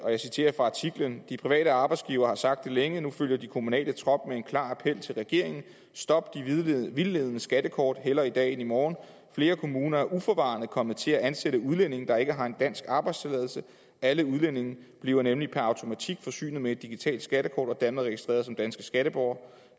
jeg citerer fra artiklen de private arbejdsgivere har sagt det længe og nu følger de kommunale trop med en klar appel til regeringen stop de vildledende skattekort hellere i dag end i morgen flere kommuner er uforvarende kommet til at ansætte udlændinge der ikke har en dansk arbejdstilladelse alle udlændinge bliver nemlig per automatik forsynet med et digitalt skattekort og dermed registreret som danske skatteborgere